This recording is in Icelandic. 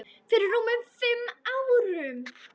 Fyrir rúmum fimm árum.